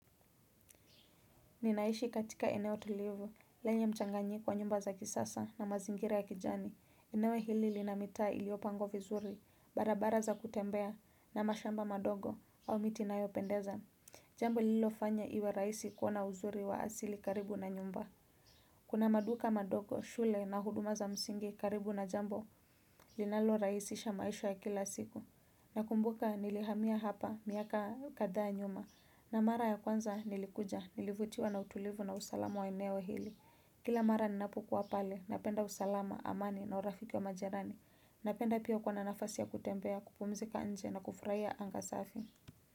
Ninaishi katika eneo tulivu, lenye mchanganyiko wa nyumba za kisasa na mazingira ya kijani, ineo hili lina mitaa iliyopangwa vizuri, barabara za kutembea na mashamba madogo au miti inayopendeza. Jambo lililofanya iwe rahisi kuwa na uzuri wa asili karibu na nyumba. Kuna maduka madogo, shule na huduma za msingi karibu na jambo, linalorahisisha maisha ya kila siku. Nakumbuka nilihamia hapa miaka kadhaa nyuma na mara ya kwanza nilikuja nilivutiwa na utulivu na usalama wabeneo hili. Kila mara ninapokuwa pale napenda usalama amani na urafiki wa majirani. Napenda pia kuwa na nafasi ya kutembea kupumzika nje na kufurahia anga safi.